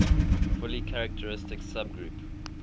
fully characteristic subgroup